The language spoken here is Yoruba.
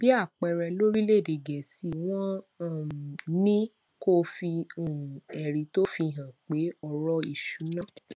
bí àpẹẹrẹ lórílèèdè gèésì wón um ní kó o fi um èrí tó fi hàn pé òrò ìṣúnná